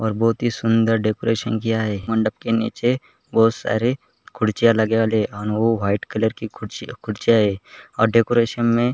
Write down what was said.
और बहुत ही सुंदर डेकोरेशन किया है मंडप के नीचे बहुत सारे खुरसिया लगे वाले है और ओ वाइट कलर की खुरसिया है और डेकोरेशन में --